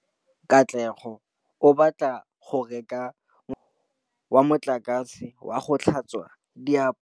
Katlego o batla go reka motšhine wa motlakase wa go tlhatswa diaparo.